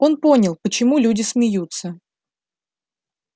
он понял почему люди смеются